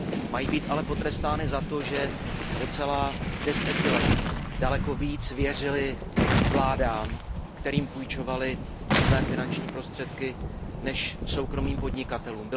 Mají být ale potrestány za to, že po celá desetiletí daleko více věřily vládám, kterým půjčovaly své finanční prostředky, než soukromým podnikatelům.